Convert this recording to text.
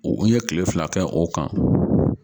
U ye kile fila kɛ o kan